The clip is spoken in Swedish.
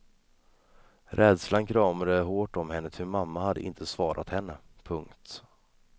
Rädslan kramade hårt om henne ty mamma hade inte svarat henne. punkt